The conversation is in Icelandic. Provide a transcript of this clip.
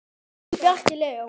Þinn, Bjarki Leó.